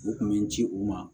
U kun mi ci u ma